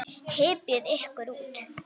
Hypjið ykkur út.